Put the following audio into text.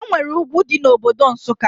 Enwere ugwu dị na Obodo Nsụka